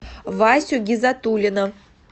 васю гизатуллина